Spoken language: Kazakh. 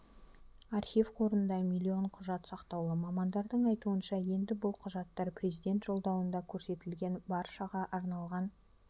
архив қорында миллион құжат сақтаулы мамандардың айтуынша енді бұл құжаттар президент жолдауында көрсетілген баршаға арналған